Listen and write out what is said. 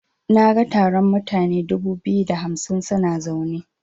Naga taron mutane dubu biyu da hamsin suna zaune.